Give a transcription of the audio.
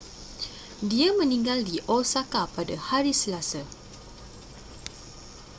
dia meninggal di osaka pada hari selasa